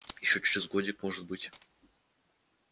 ещё через годик может быть